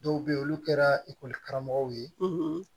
Dɔw bɛ yen olu kɛra karamɔgɔw ye